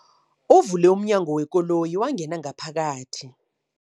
Uvule umnyango wekoloyi wangena ngaphakathi.